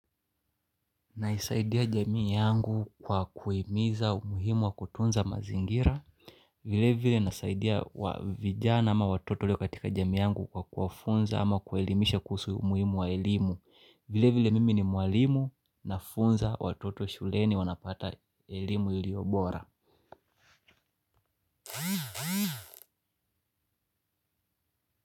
Naisaidia jamii yangu kwa kuhimiza umuhimu wa kutunza mazingira. Vile vile nasaidia vijana ama watoto walio katika jamii yangu kwa kuwafunza ama kuelimisha kuhusu umuhimu wa elimu. Vile vile mimi ni mwalimu nafunza watoto shuleni wanapata elimu ilio bora.